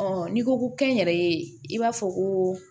n'i ko ko kɛnyɛrɛye i b'a fɔ ko